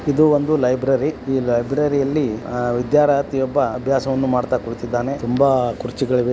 ಇದು ಒಂದು ಲೈಬ್ರರಿ ಈ ಲೈಬ್ರರಿಯಲ್ಲಿ ವಿದ್ಯಾರ್ಥಿಯೊಬ್ಬ ಅಭ್ಯಾಸ ಮಾಡ್ತಾ ಕೂತಿದ್ದಾನೆ ತುಂಬಾ ಕುರ್ಚಿಗಳಿಗೆ--